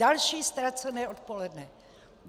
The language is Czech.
Další ztracené odpoledne.